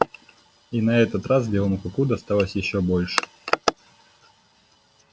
и на этот раз белому клыку досталось ещё больше